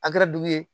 A kɛra dugu ye